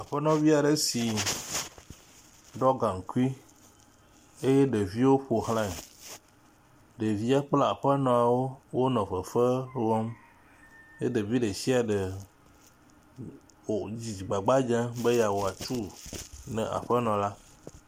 Aƒenɔ vi aɖe si ɖɔ gaŋkui eye ɖeviwo ƒoxlae. Ɖevia kpla aƒnɔwo wonɔ fefe wɔm eye ɖevi ɖe sia ɖe ko dzidzi gbagba dzem be yeawɔ atu ne aƒenɔ la.